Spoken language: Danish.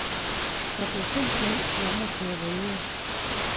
Jeg blev simpelthen tvunget til at vælge.